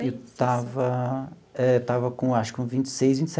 Eu estava eh estava com acho que com vinte e seis vinte e